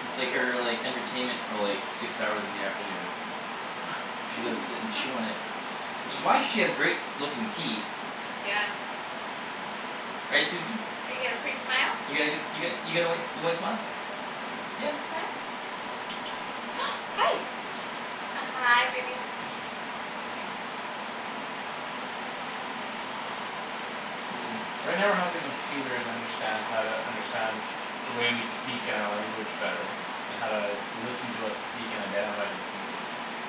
It's like her, like, entertainment for, like six hours in the afternoon. All she does is sit and chew on it. Which is why she has great looking teeth. Yeah. Right, Susie? You got a pretty smile. You got a good, you got, you got a white, your white smile? Yeah. Can you smile? Hi. Hi, baby. So right now we're helping computers understand how to understand the way we speak and our language better and how to listen to us speak and identify who's speaking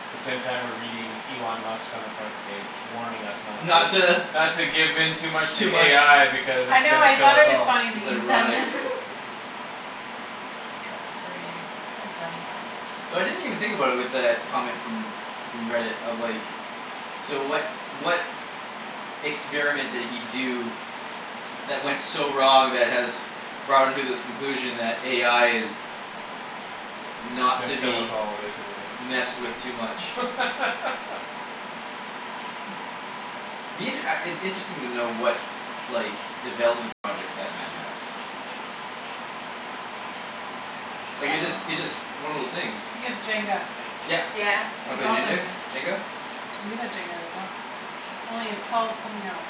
the same time we're reading Elon Musk on the front page warning us not Not to to not to give in too much to Too much AI because I it's know, gonna I kill thought us it was all. funny that It's you said ironic. that. That's gra- very funny. Ouch. So I didn't even think about it with that comment from from Reddit of, like So what, what experiment did he do that went so wrong that has brought him to this conclusion that AI is He's not gonna to kill us be all, basically. messed with too much. Me, it, uh, it's interesting to know what like, development projects that man has. I Like, it just, don't it know. just, one of those things. You have Jenga. Yep. Yeah. Wanna That's play Jendar, awesome. Jenga? We have Jenga as well. Only it's called something else.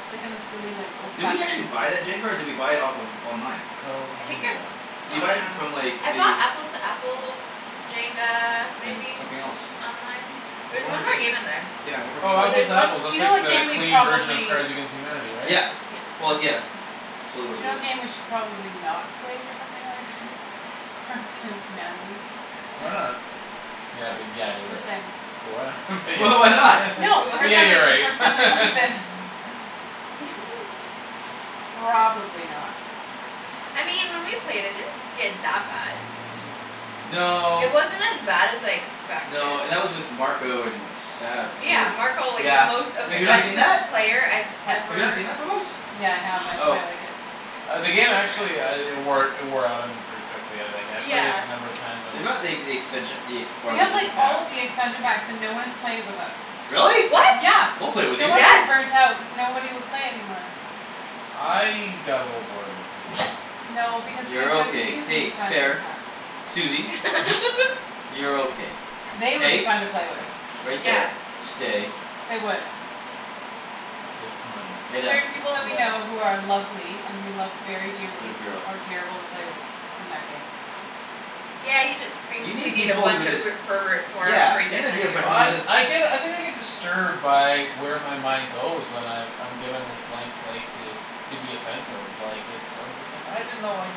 It's, like, in this really, like, Did we old-fashioned actually looking buy that jenga or did we buy it off of online? Called I think I Jinga. Did you bought buy it it on- from, like, I bought the Apples to Apples Jenga, And maybe something else. online. There There's was one more one more game game. in there. Yeah, one more game Oh, we Or Apples there's bought. to one Apples, Do that's you know like what the game we clean version of probably Cards against Humanity, right? Yeah, Yeah. well, yeah. It's totally what Do you it know what is. game we should probably not play with something like thi- Cards against Humanity. Why not? Yeah, but yeah, you're Just right. saying. But why not but But why yeah, not? yeah. No, What? But for yeah, something, you're right. for something like this. Probably not. I mean when we played it, it didn't get that bad. It No. wasn't as bad as I expected. No, and that was with Marco and Sab Yeah, too, Marco, like, the yeah. most They, Have you not they seen offensive that? played I've What? Have you not ever seen that from us? Yeah, I have. That's why Oh. I like it. Ah, the game actually uh it wore, it wore out on me pretty quickly. But yeah, like, I, I've played it Yeah. a number of times on They this got the ex- expansion, the ex- We part of have, like, different all packs. the expansion packs but no one has played it with us. Really? What? Yeah, We'll play with no you. wonder you Yes. burnt out cuz nobody would play it anymore. I got a little bored of it, to be honest. No, because you You're never got to okay. use the Hey, expansion fair. packs. Susie. You're okay. They would be Hey, fun to play with. right Yes. there, stay. They would. They might. Lay down. Certain people that we know Yeah. who are lovely and we love very dearly Good girl. are terrible to play with in that game. Yeah, you just You basically need need a people who bunch of just per- perverts who aren't Yeah. afraid to offend you. Well, I, I get, I think I get disturbed by where my mind goes when I've, I'm given this blank slate to to be offensive, like, it's, I'm just like, "I didn't know, like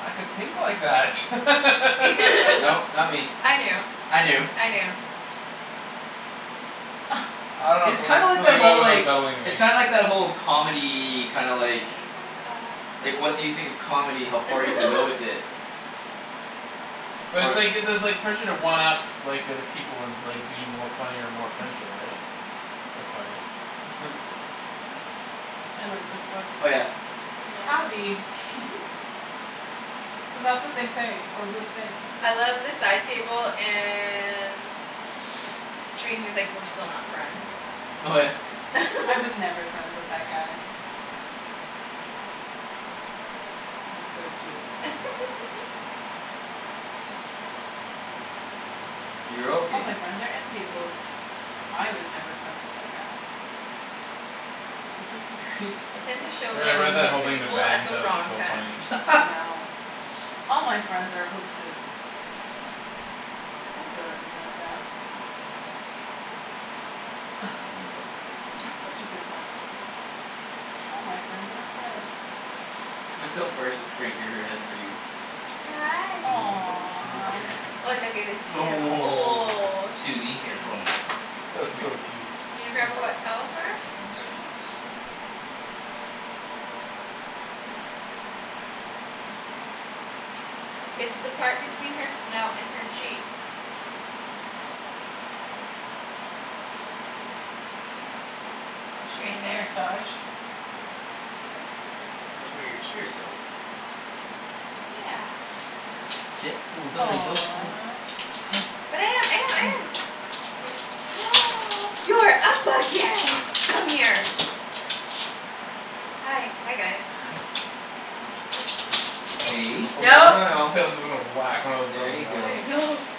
I could think like that." Nope, not me. I knew. I I knew. knew. I don't know It's something, kind like something that, about it whole, was like unsettling to me. It's kinda like that whole comedy, kinda like like, once you think of comedy, how far you can go with it. But it's Or like, it, there's like pressure to one up like, the other people and, like, be more funny or more offensive, right? That's funny. I like this book. Oh, yeah. Howdy. Yeah. Cuz that's what they say, or would say. I love the side table and he was, like, "We're still not friends." Oh, yeah. "I was never friends with that guy." Yeah. He's so cute. You're "All my okay. friends are end tables." "I was never friends with that guy." This is the greatest I book. tend to show Yeah, I that read Dang it. that book whole to thing to people Ben; at he the thought it was wrong so time. funny. I know. "All my friend are hoaxes." I sort of resent that. Ah. Read a book. It's such a good book. "All my friend are." Look how far she's cranking her head for you. Hi. Aw. Oh, oh, oh. Susie, Oh, here, hold on. That's Come here. so Susie. cute. You gonna grab a wet towel for her? I'm just gonna do this. It's the part between her snout and her cheeks. Is she Right getting a there. massage? That's where your tears go. Yeah. Sit. Oh, thanks. Hi. Aw. Hi. But I am, I am, I Hi. am. You're up again! Come here. Hi, hi, guys. Hi. Hey, Oh no, No. no, no. Kara's, was gonna whack one of the There you ribbons out. I go. know.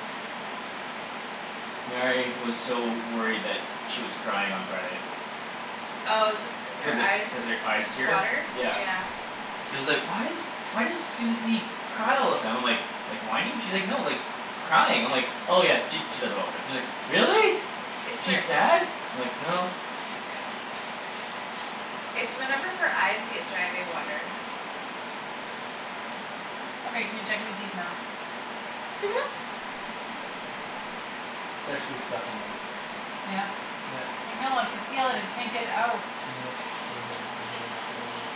Mary was so worried that she was crying on Friday. Oh, just cause Cuz her the t- eyes cuz her eyes tear, water? Yeah. yeah. She was like, "Why is, why does Susie cry all the time?" I'm like "Like whining?" She's like, "No, like crying." I'm like "Oh, yeah, she, she does that all the time." She's like, "Really? It's Is she her sad?" I'm like, "No." It's whenever her eyes get dry they water. Okay, can you check my teeth now? Disgusting. There's actually stuff in them. Yeah. Yep. I know, I could feel it; just can't get it out. Yeah, over here, right here in that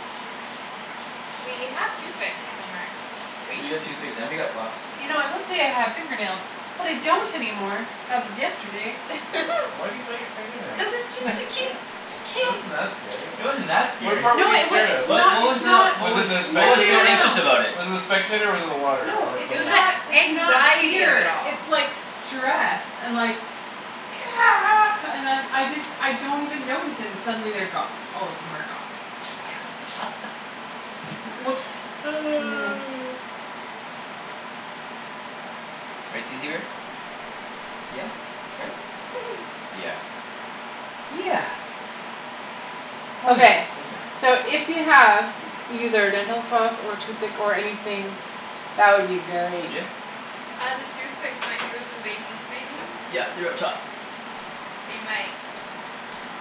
We have toothpicks somewhere, do we? We have toothpicks, and we got floss. You know I would Yeah. say I have fingernails, but I don't anymore as of yesterday. Wh- why do you bite your finger nails? Cuz it just a ke- It ke- wasn't that scary. It wasn't that What scary. part were No, you it wa- scared of? it's What, not, what was it's the, not what Was it was the what No, was no, so no, spectator? no, anxious no. about it? Was it the spectator or was it the water No, or It it's something was else? the not, it's not anxiety of it fear. all. It's like stress and like and I'm, I just, I don't even notice, and suddenly they're gone; all of them are gone. Yeah. W- whoops. Right, Susie bear? Yeah. Right? Yeah. Yeah. Oh, yeah. Okay. So if you have either dental floss or toothpick or anything that would be great. Yeah. Uh, the toothpicks might be with the baking things. Yeah, they're up top. They might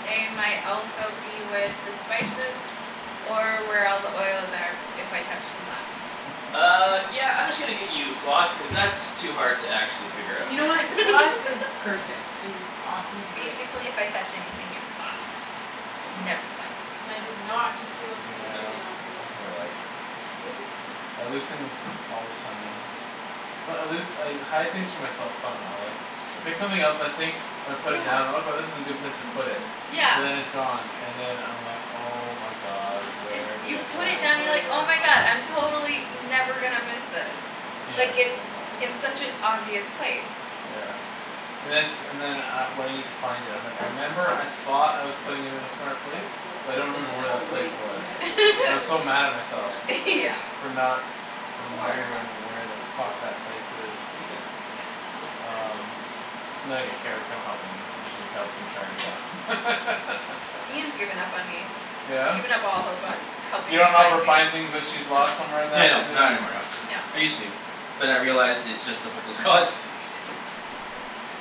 They might also be with the spices or where all the oils are if I touched them last. Uh, yeah, I'm just gonna get you floss cuz that's too hard to actually figure out. You know what, floss is perfect and awesome and great. Basically if I touch anything you're fucked. You'll never find it. And I did not just steal a piece of Yeah, chicken off this. I can relate. I lose things all the time. It's not, I lose, I hide things from myself some how, like I pick something else and I think and I put it Yeah. down, "Okay, this is a good place to put it." But Yeah. then it's gone and then I'm like "Oh, my god, Like, where did you I put put And I it it?" have down and no you're idea like, where "Oh, our my floss god, went I'm to. totally never gonna miss this." Hmm. Yeah. Like, it's in such an obvious place. Yeah. And then it's, and then uh when I need to find it I'm like, "I remember I thought I was putting it in a smart place That's cool; but I don't You you've remember may like where have to that aqua place wait. color. You was." may have to wait And I'm so till mad at we're myself done this Yeah. session. for not Or remembering you could where the use a fuck fork. that place is. You could. Yeah. Just don't stab Um yourself too much. And then I get Kara to come help me and she helps me track it K. down. Ian's given up on me. He's Yeah? given up all hope on You helping me don't help her find things. find things that she's lost somewhere in Yeah, that, and no, then not anymore, no. No. I used to. But I realized it's just a hopeless cause.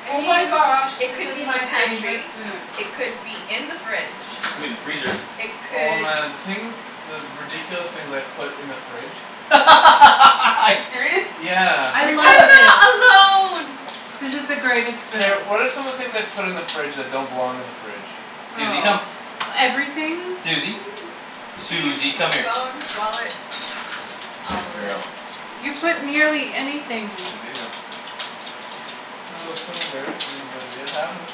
I Oh my mean, gosh, it this could is be in the my favorite pantry. spoon. It could be Could be in the fridge. in the freezer. It Oh, could man, the things the ridiculous things I've put in the fridge. Are you serious? Yeah. I Like love what? this. I'm not alone. This is the greatest Kara, spoon. what are some of the things I've put in the fridge that don't belong in the fridge? Susie, come. Oh, everything. Susie. Keys, Susie, come here. phones, wallets. All Good of it. girl. You put nearly anything. Oh, so embarrassing but it happens.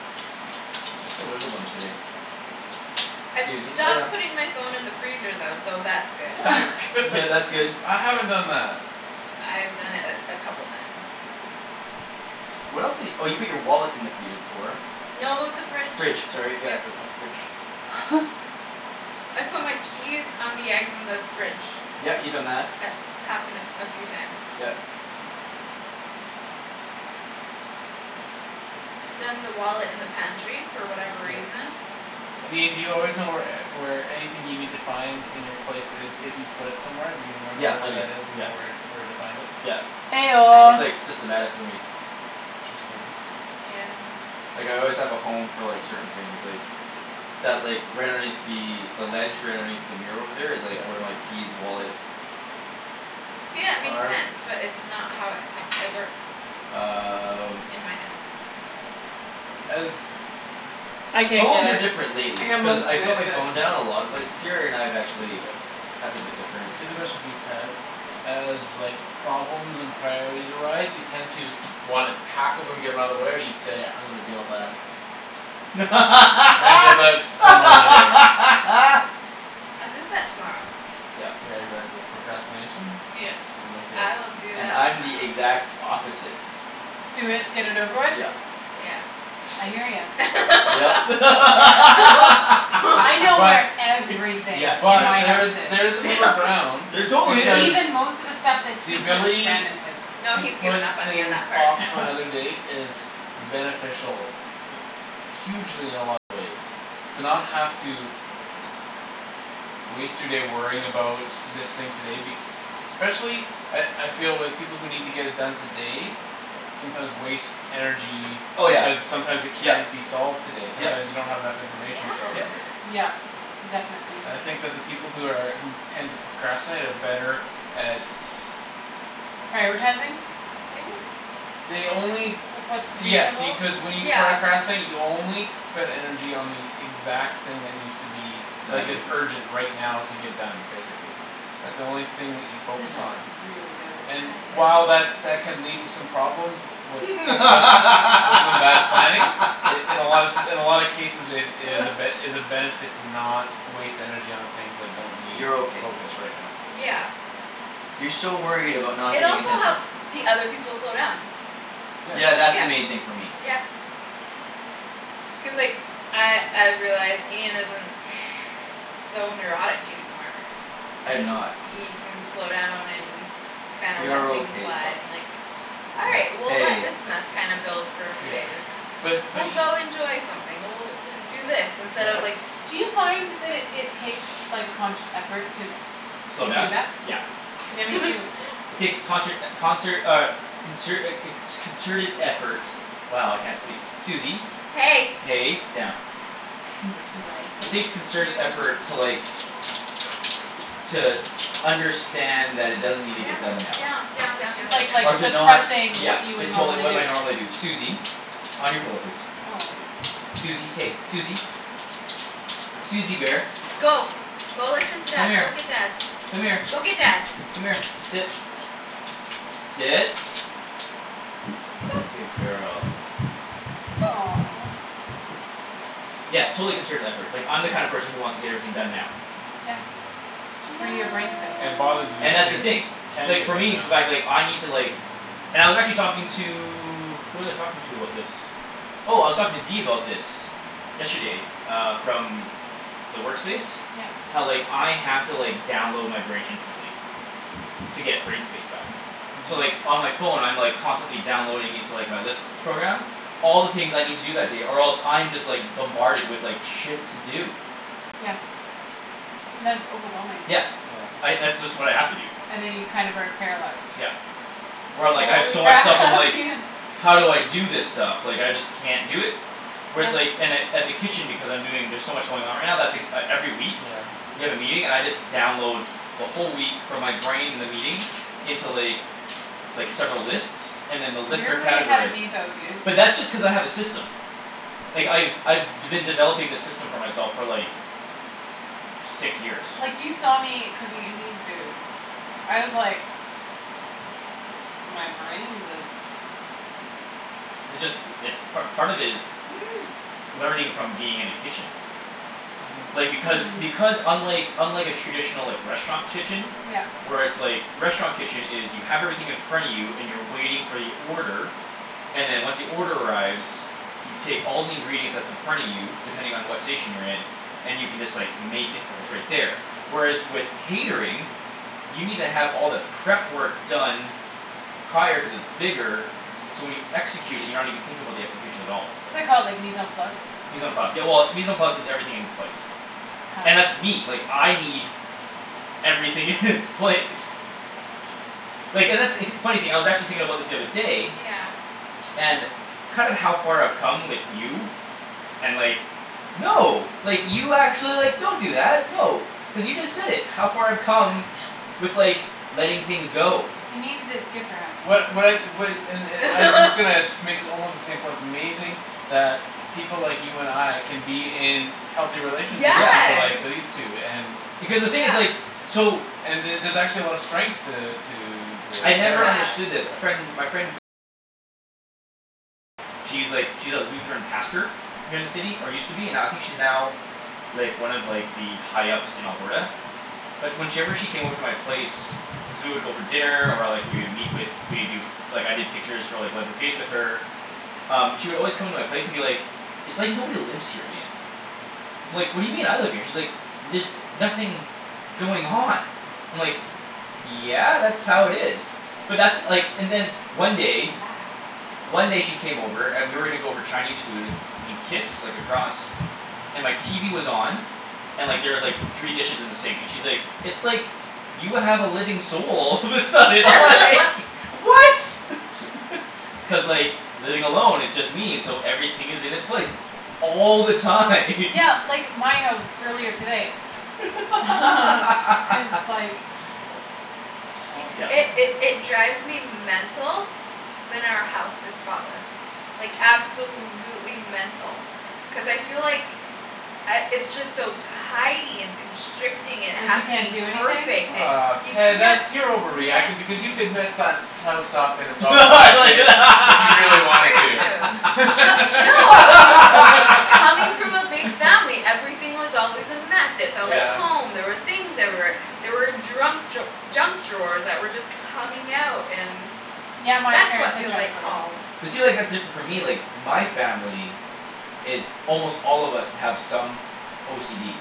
Yeah. You're such a wiggle bum today. I've Susie, lay stopped down. putting my phone in the freezer though, so that's good. That's good. Yeah, that's good. I haven't done that. I've done it a, a couple times. What else di- oh, you put your wallet in the freezer before. No, it was the fridge, Fridge, sorry, yep. yeah, uh, fridge. I've put my keys on the eggs in the fridge. Yeah, you've done that. It's happened a, a few times. Yep. Done the wallet in the pantry for whatever Yeah. reason. I mean, do you always know where e- where anything you need to find in your place is if you put it somewhere? Do you remember Yeah, I where do, that is and you yeah. know where, where to find it? Yeah. Eh I That's, don't. oh. like, systematic for me. Interesting. Yeah, I know. Like, I always have a home for, like, certain things, like that, like, right underneath the the ledge right underneath the mirror over there is, Yeah. like, where my keys, wallet See, yeah, it makes are. sense but it's not how it happ- it works. Um In my head. As I can't Phones get are it. different I lately got cuz most I of put it, my but. phone down a lot of places here, and I've actually That's a Okay. bit different. Cuz especially, for you, Ped as, like problems and priorities arise you tend to wanna tackle them, get 'em outta the way, or do you say "I'm gonna deal with that" "I'm gonna deal with that some other day." I'll do that tomorrow. Yep. Yeah, exactly. Procrastination. Yes, I'm with ya. I'll do And that I'm the tomorrow. exact opposite. Do it to get it over with? Yep. Yeah. I hear ya. Yep. I know But where everything in but my house Yeah, there's, she is. there's a middle No. ground. There totally Cuz is. Even most of the stuff that the he puts ability random places. No, to he's put given up on me on things that part. off to another day is beneficial hugely in a lot of ways to not have to waste your day worrying about this thing today be- especially at, I feel with people who need to get it done today sometimes waste energy Oh, yeah. because sometimes it Yep, can't be solved today. Sometime yep. you don't have enough Yeah. information to solve it Yep. today. Yep, definitely. I think that the people who are, who tend to procrastinate are better at Prioritizing things They only with what's Yes, see, reasonable. cuz when you Yeah. pracrastinate, you only spend energy on the exact thing that needs to be like, Done. is urgent right now to get done, basically. That's the only thing that you focus This is on. really good. And I while know. that that can lead to some problems with, wi- with, with some bad planning in, in a lot se- in a lot of cases it, it is a ben- is a benefit to not waste energy on the things that don't need You're okay. focus right now, so. Yeah. You're so worried about not It getting also attention. helps the other people slow down. Yeah. Yeah, that's the Yeah. main thing for me. Yeah. Cuz, like, I, I've realized Ian isn't Shh. so neurotic anymore. I am It ca- not. he can slow down and kinds let You're things okay, pup. and, like "All right, Yeah. we'll let Hey. this mess kinda build for a few Yeah. days." Shh. But, but "We'll e- go enjoy something, we'll do do this instead of, Yeah. like" Do you find that it, it takes, like, conscious effort to Slow to do down? that? Yeah. Yeah, me too. It takes conshert, concert, uh consert a, a co- concerted effort. Wow, I can't speak. Susie. Hey. Hey, down. She likes It you. takes concerted Yo. effort to, like to understand that it doesn't need to get Down, done now. down, down, down, Do yo- down, down, like, like, Or to down. not, suppressing yeah. what you would It totally, normally what do. my normally do. Susie. On your pillow, please. Aw. Susie, hey, Susie. Susie bear. Go. Go listen to Come dad, go here. get dad. Come here. Go get dad. Come here, sit. Sit. Good girl. Aw. Yeah, totally concerted effort. Like, I'm the kind of Yeah. person who wants to get everything done now. Yeah. To free your No. brain space. And it bothers you when And that's the things thing. can't Like, get for done me now. it's the fact, like, I need to, like And I was actually talking to Who was I talking to about this? Oh, I was talking to D about this. Yesterday, uh, from the work space Yep. how, like, I have to, like, download my brain instantly. To get brain space back. So, Mhm. like, on my phone, I'm, like, constantly downloading into, like, my list program all the things I need to do that day or else I'm just, like bombarded with, like, shit to do. Yeah. And that's overwhelming. Yeah. Yeah. I, that's just what I have to do. And then you kind of are paralyzed. Yep. Where I'm, like, I have Holy so much stuff I'm crap like Ian. "How do I do this stuff? Like I just can't do it." Whereas, Yeah. like, in at, at the kitchen Because I'm doing, there's so much going on right now, that's ek- every week. Yeah. We have a meeting, and I just download the whole week from my brain the meeting into, like like, several lists and then the list You're are way ahead of categorized. me though, dude. But that's just cuz I have a system. Like, I've, I've d- been developing this system for myself for, like six years. Like you saw me cooking Indian food. I was like My brain was It just, it's part, part of it is learning from being in a kitchen. Mhm. Like, because, Hmm. because unlike unlike a traditional, like, restaurant kitchen Yep. where it's, like, a restaurant kitchen is you have everything in front of you and you're waiting for your order and then once the order arrives you take all the ingredients that's in front of you depending on what station you're in and you can just, like, make it, it's right Right. there. Whereas with catering you need to have all the prep work done prior cuz it's bigger so when you execute it, you're not even thinking about the execution at all. What's that called, like, mise en place? Mise en place, yeah, well, mise en place is "everything in its place." Huh. And that's me. Like, I need everything in its place. Like, and that's, funny thing I was actually thinking about this the other day Yeah. and kind of how far I've come with you and like, no like, you actually, like, don't do that. No, cuz you just said it, how far I've come with, like, letting things go. He means its good for him. What, what I, what, and, and I was just gonna sh- make almost the same point; it's amazing that people like you and I can be in healthy relationships with people like Yeah. Yes, these two and Because the thing is, yeah. like so and the- there's actually a lot of strengths to, to the I'd never pairing. Yeah. understood this. A friend, my friend she's, like, she's a Lutheran pastor here in the city, or used to be, now, I think she's now like, one of, like, the high ups in Alberta. But when she ever, she came over to my place cuz we would go for dinner, or, like, we would meet with, we'd do like, I did pictures for, like with her um, she would always come into my place and be like "It's like nobody lives here, Ian." I'm like, "What do you mean? I live here." And she's like "There's nothing going on." I'm like "Yeah, that's how it is." But that's, like, and then one day Yeah. one day she came over and we were gonna go for Chinese food in Kits, like, across. And my TV was on. And, like, there was, like, three dishes in the sink, and she's like, "It's like you have a living soul." All of a sudden I was like "What?" It's cuz, like, living along it just means so everything is in its place all the time. Yeah, like, my house earlier today. It's like Oh, It, okay. Yep. it, it drives me mental when our house is spotless. Like, absolutely mental. Cuz I feel like I, it's just so tidy and constricting, it Like has you to can't be do anything? perfect, it, Ah, you Ped, can't that's, be you're over reacting because you messy. could mess that house up in about five minutes if you really wanted Very to. true. But no. Coming from a big family, everything was always a mess, it felt like Yeah. Yep. home, there were things everywhere. There were drunk draw- junk drawers that were just coming out and Yeah, my that's parents what had feels junk like drawers. home. But see, like, that's different for me, like my family is almost all of us have some OCD.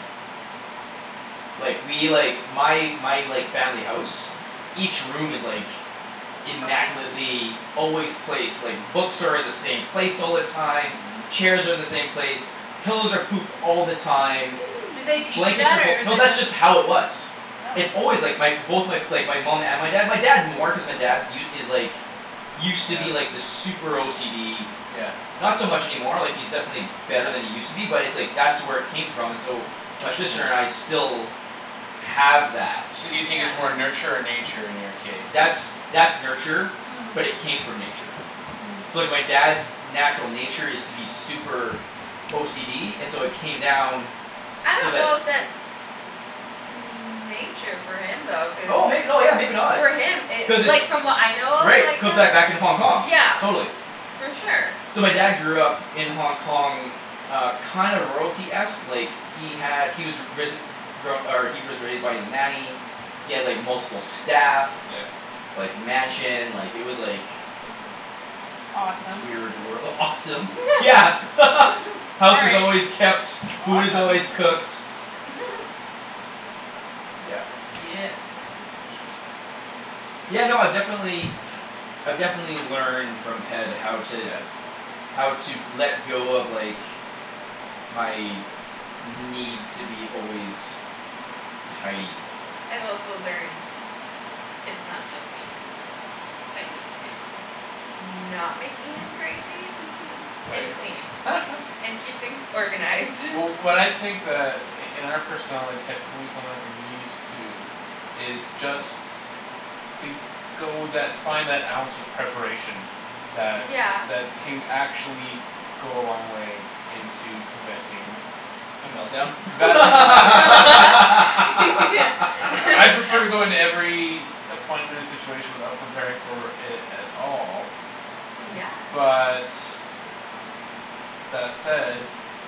Like, we, like my, my, like, family house each room is, like Perfect. immaculately always placed, like, books are in the same place all the time Mhm. chairs are in the same place pillows are poofed all the time Did they teach you blankets that are fol- or is No, it that's just just how it was. It's Oh. always, like, my both, my, like, my mom and my dad, my dad more cuz my dad u- is like used to be, Yeah. like, this super OCD Yeah. not so much any more, like, he's definitely Yeah. better than he used to be, but it's like that's where it came from, and so my sister and I still have that. So do you think Yeah. it's more nurture or nature in your case That's, that's that's nurture Hmm. but it came from nature. Hmm. So, like, my dad's natural nature is to be super OCD, and so it came down I so don't know that if that's nature for him though, cuz oh may- no, yeah, maybe not. for him it, Cuz like, it's from what I know of, Right, it like, could him, back, back in Hong Kong, yeah. totally. For sure. So my dad grew up in Hong Kong uh, kinda royalty-esque, like he had, he was ri- risen, re- grown, or he was raised by his nanny he had, like, multiple staff Yeah. like, mansion, like, it was like Mhm. Awesome. weird wor- awesome. Yeah. House is Sorry. always kept, food is Awesome. always cooked. Yeah. Yeah. That's interesting. Yeah, no, I definitely. Yeah. I've definitely learned from Ped how to Yeah. how to let go of, like my need to be always tidy. I've also learned it's not just me. I need to not make Ian crazy and Right. clean and keep things organized. Wh- what I think that i- in our personality, Ped, we can learn from these two is just to go that, find that ounce of preparation that, Yeah. that can actually go a long way into preventing A melt down? right? I prefer to go into every appointment and situation without preparing for it at all Yeah. but that said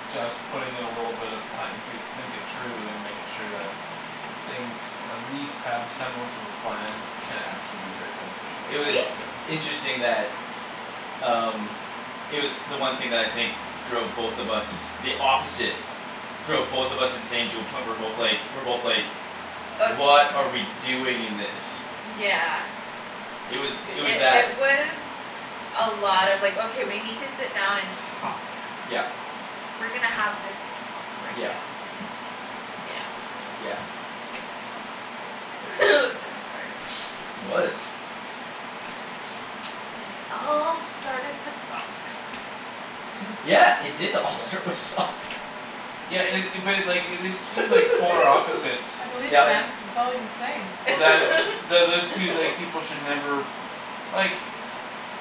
just putting in a little bit of time to think it through and make sure that things at least have a semblance of a plan can actually be very beneficial, It I See? was discovered. interesting that um It was the one thing that I think drove both of us the opposite drove both of us insane to a point we're both like, we're both like Of m- "What are we doing in this?" yeah. It was, It, it was it, that. it was a lot of, like, "Okay, we need to sit down and talk." Yeah. "We're gonna have this talk right Yeah. now." Yeah. Yeah. Is It was hard. It was. And it all started with socks. Hm. Yeah, it did all Yeah? start with socks. Yeah it- it, but, like, if it's two, like polar opposites I believe it that Yep. man. It's all I can say. that th- those two, like, people should never like